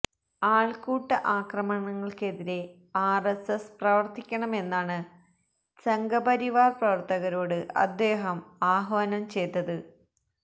ആൾക്കൂട്ട ആക്രമണങ്ങൾക്കെതിരെ ആർഎസ്എസ് പ്രവർത്തിക്കണമെന്നാണ് സംഘപരിവാർ പ്രവർത്തകരോട് അദ്ദേഹം ആഹ്വാനം ചെയ്തത്